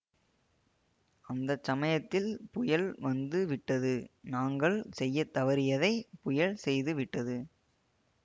அந்த சமயத்தில் புயல் வந்து விட்டது நாங்கள் செய்ய தவறியதை புயல் செய்துவிட்டது